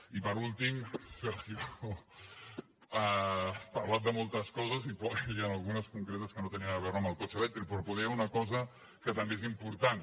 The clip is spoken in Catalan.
i per últim sergio has parlat de moltes coses i d’algunes concretes que no tenien a veure amb el cotxe elèctric però poder hi ha una cosa que també és important